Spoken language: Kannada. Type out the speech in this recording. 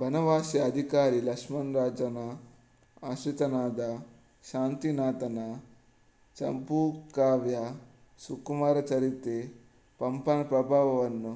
ಬನವಾಸಿಯ ಅಧಿಕಾರಿ ಲಕ್ಷ್ಮಣರಾಜನ ಆಶ್ರಿತನಾದ ಶಾಂತಿನಾಥನ ಚಂಪೂಕಾವ್ಯ ಸುಕುಮಾರಚರಿತೆ ಪಂಪನ ಪ್ರಭಾವವನ್ನು